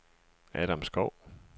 Adam Skov